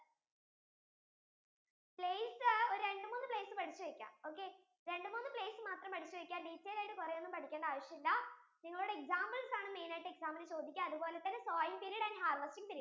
place ഒരു രണ്ടു മൂന്ന് place പഠിച്ചു വെക്കാം, രണ്ടു മൂന്ന് place മാത്രം പഠിച്ചു വെക്ക detail ആയിട്ടൊന്നും പഠിച്ചു വെക്കണ്ട ആവശ്യം ഇല്ല നിങ്ങളോട examples ആണ് main ആയിട്ടു exam യിൽ ചോദിക്കുന്നത് അതുപോലെ തന്നെ sowing period and harvesting period